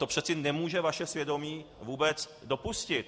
To přece nemůže vaše svědomí vůbec dopustit!